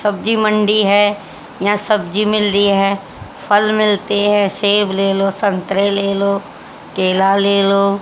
सब्जी मंडी है यहां सब्जी मिल रही है फल मिलते है सेब ले लो संतरे ले लो केला ले लो।